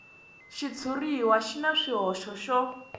xitshuriwa xi na swihoxo swo